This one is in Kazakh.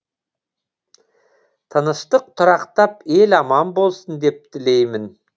тыныштық тұрақтап ел аман болсын деп тілеймін